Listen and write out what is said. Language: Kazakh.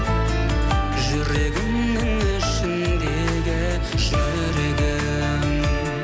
жүрегімнің ішіндегі жүрегім